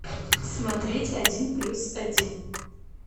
смотреть один плюс один